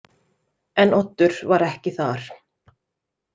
En Oddur var ekki þar.